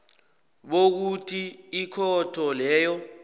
bokuthi ikhotho leyo